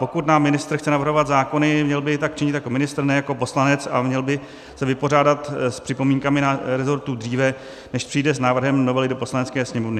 Pokud nám ministr chce navrhovat zákony, měl by tak činit jako ministr, ne jako poslanec, a měl by se vypořádat s připomínkami rezortu dříve, než přijde s návrhem novely do Poslanecké sněmovny.